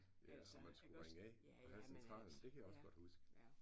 Ja og man skulle ringe af. Man havde Centralen det kan jeg også godt huske